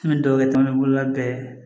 N bɛ dugawu kɛ bolola bɛɛ ye